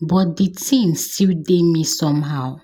But di thing still dey me somehow.